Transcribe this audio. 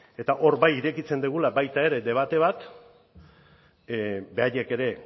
eta hor bai irekitzen dugula baita ere debate bat beraiek ere